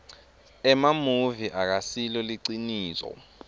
emamuvi akasilo liciniso